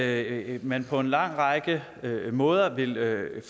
at man på en lang række måder vil